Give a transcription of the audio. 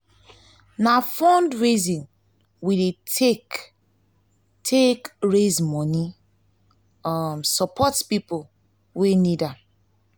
na fundraising we dey take take raise moni um support pipo wey need am.